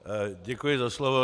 Děkuji za slovo.